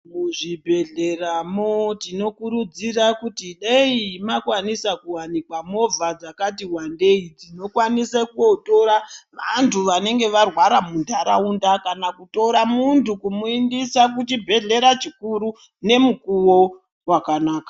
Muzvibhedhleramo tinokurudzira kuti dai makwanisa kuvanikwa movha dzakati vandei dzinokwanise kotora vantu vanenga varwara muntaraunda. Kana kutora muntu kumuindisa kuchibhedhlera chikuru nemukuvo vakanaka.